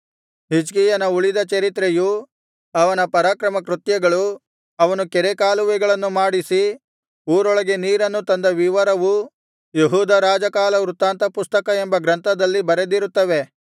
ಹಿಜ್ಕೀಯನ ಉಳಿದ ಚರಿತ್ರೆಯೂ ಅವನ ಪರಾಕ್ರಮಕೃತ್ಯಗಳೂ ಅವನು ಕೆರೆಕಾಲುವೆಗಳನ್ನು ಮಾಡಿಸಿ ಊರೊಳಗೆ ನೀರನ್ನು ತಂದ ವಿವರವೂ ಯೆಹೂದ ರಾಜಕಾಲವೃತ್ತಾಂತ ಪುಸ್ತಕ ಎಂಬ ಗ್ರಂಥದಲ್ಲಿ ಬರೆದಿರುತ್ತವೆ